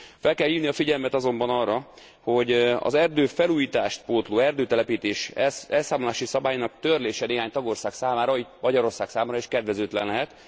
Fel kell hívni a figyelmet azonban arra, hogy az erdőfelújítást pótló erdőtelepítés elszámolási szabályainak törlése néhány tagország számra, így Magyarország számára is kedvezőtlen lehet.